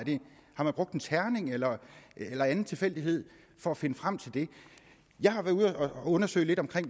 har man brugt en terning eller eller anden tilfældighed for at finde frem til dem jeg har været ude at undersøge det